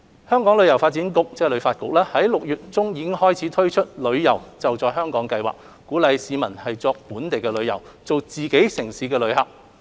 香港旅遊發展局於6月中推出了"旅遊.就在香港"計劃，鼓勵市民作本地旅遊，做自己城市的旅客。